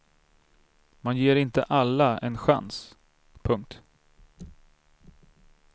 Man ger inte alla en chans. punkt